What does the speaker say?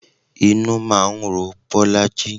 Inú máa ń ro Bolaji